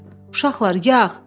Uşaqlar, yağ!